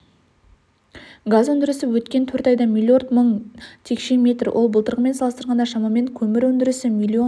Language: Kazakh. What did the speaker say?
газ өндірісі өткен төрт айда миллиард мың текше метр ол былтырғымен салыстырғанда шамамен көмір өндірісі миллион